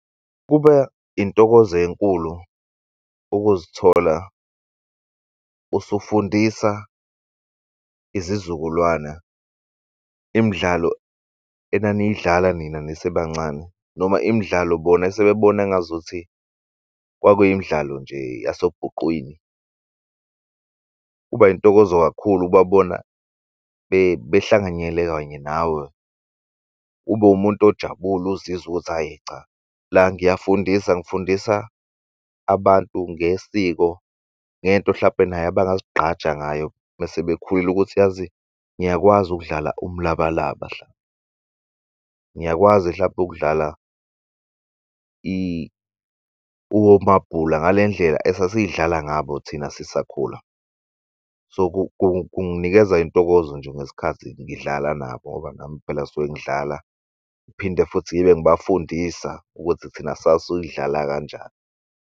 Intokozo enkulu ukuzithola usufundisa izizukulwana imidlalo enaniyidlala nina nisebancane noma imidlalo bona esebebona engazuthi kwakuyi imidlalo nje yasobhuqwini. Kuba intokozo kakhulu ukubabona behlanganyele kanye nawe ube umuntu ojabule ozizwa ukuthi ayi cha la ngiyafundisa, ngifundisa abantu ngesiko ngento hlampe naye abangazigqaja ngayo mesebekhulile ukuthi yazi ngiyakwazi ukudlala umlabalaba, ngiyakwazi mhlampe ukudlala omabhula ngale ndlela esasilidlala ngabo thina sisakhula. So, kunginikeza intokozo nje ngesikhathi ngidlala nabo ngoba nami phela suke ngidlala ngiphinde futhi ngibe ngibafundisa ukuthi thina sasiyidlala kanjani.